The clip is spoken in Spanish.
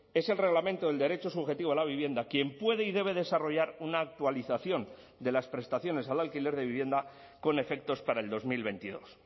es el reglamento del derecho subjetivo a la vivienda quien puede y debe desarrollar una actualización de las prestaciones al alquiler de vivienda con efectos para el dos mil veintidós